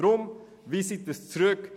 Weisen Sie deshalb das Gesetz zurück.